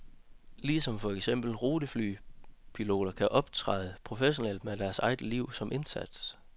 Ligesom for eksempel ruteflypiloter kan optræde professionelt med deres eget liv som indsats.